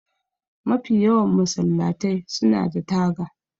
Mafi yawan masallatai suna da taga